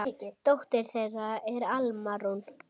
Dóttir þeirra er Alma Rún.